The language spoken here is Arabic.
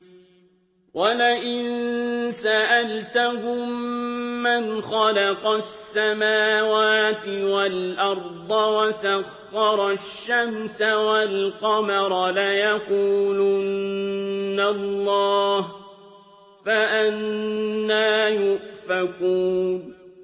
وَلَئِن سَأَلْتَهُم مَّنْ خَلَقَ السَّمَاوَاتِ وَالْأَرْضَ وَسَخَّرَ الشَّمْسَ وَالْقَمَرَ لَيَقُولُنَّ اللَّهُ ۖ فَأَنَّىٰ يُؤْفَكُونَ